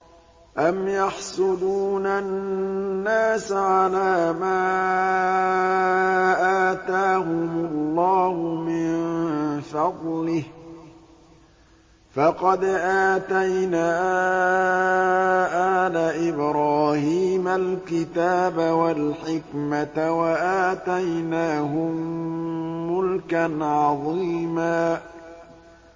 أَمْ يَحْسُدُونَ النَّاسَ عَلَىٰ مَا آتَاهُمُ اللَّهُ مِن فَضْلِهِ ۖ فَقَدْ آتَيْنَا آلَ إِبْرَاهِيمَ الْكِتَابَ وَالْحِكْمَةَ وَآتَيْنَاهُم مُّلْكًا عَظِيمًا